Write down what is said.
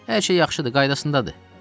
Hər şey yaxşıdır, qaydasındadır.